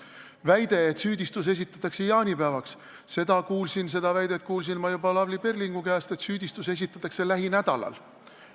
Väide, et süüdistus esitatakse jaanipäevaks – ma kuulsin juba Lavly Perlingu käest, et süüdistus esitatakse lähinädalal.